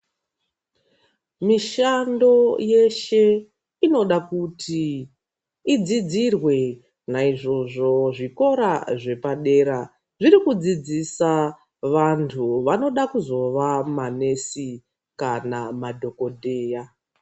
Mishando yeshe inoda kuti idzidzirwe naizvozvo zvikora zvepadera zvirikudzidzisa vantu vanoda kuzova manesi kana madhokodheya.